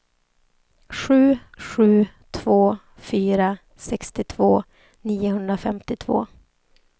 sju sju två fyra sextiotvå niohundrafemtiotvå